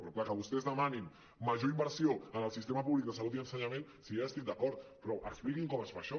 però clar que vostès demanin major inversió en el sistema públic de salut i ensenyament si ja hi estic d’acord però expliquin com es fa això